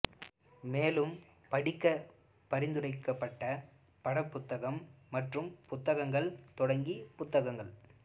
மேலும் படிக்க பரிந்துரைக்கப்பட்ட படம் புத்தகங்கள் மற்றும் புத்தகங்கள் தொடங்கி புத்தகங்கள்